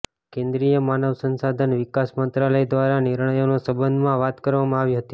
કેન્દ્રિય માનવ સંશાધન વિકાસ મંત્રાલય દ્વારા નિર્ણયોના સંબંધમાં વાત કરવામાં આવી હતી